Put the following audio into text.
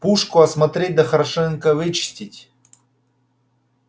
пушку осмотреть да хорошенько вычистить